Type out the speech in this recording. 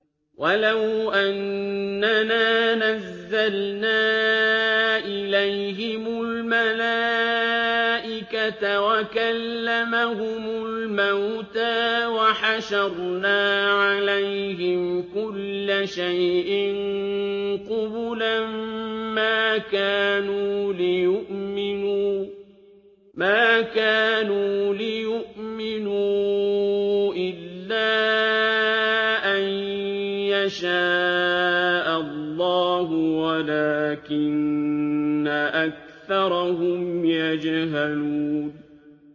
۞ وَلَوْ أَنَّنَا نَزَّلْنَا إِلَيْهِمُ الْمَلَائِكَةَ وَكَلَّمَهُمُ الْمَوْتَىٰ وَحَشَرْنَا عَلَيْهِمْ كُلَّ شَيْءٍ قُبُلًا مَّا كَانُوا لِيُؤْمِنُوا إِلَّا أَن يَشَاءَ اللَّهُ وَلَٰكِنَّ أَكْثَرَهُمْ يَجْهَلُونَ